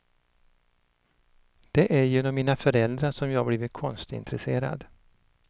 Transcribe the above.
Det är genom mina föräldrar som jag blivit konstintresserad.